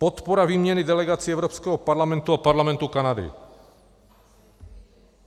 Podpora výměny delegací Evropského parlamentu a Parlamentu Kanady.